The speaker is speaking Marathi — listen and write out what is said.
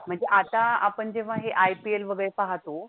म्हणजे आता आपण जेव्हा हे IPL वगैरे पाहतो